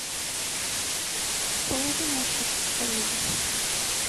положи на счет коллеги